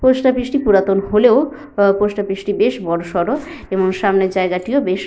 post office -টি পুরাতন হলেও আহ পোস্ট অফিস -টি বেশ বড়সড় এবং সামনের জায়গাটিও বেশ --